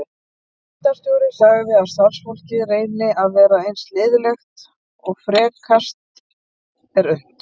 Deildarstjóri segir að starfsfólkið reyni að vera eins liðlegt og frekast er unnt.